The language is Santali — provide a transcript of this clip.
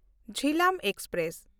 ᱡᱷᱤᱞᱟᱢ ᱮᱠᱥᱯᱨᱮᱥ